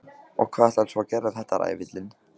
Og hvað ætlarðu svo að gera við þetta, ræfillinn?